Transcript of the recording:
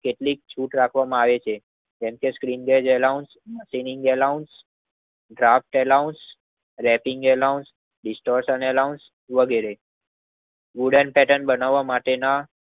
કેટલીક છૂટ રાખવામાં આવે છે. જેમ કે સટિન્ડેજ એલાન મકેનીંગ એલાન ગ્રાપ્ત એલાન રેંકિંગ એલાન વિસ્ટેસન એલાન વગેરે વુડન પેટર્ન બનાવ માટે ના